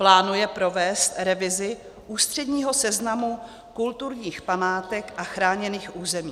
Plánuje provést revizi ústředního seznamu kulturních památek a chráněných území.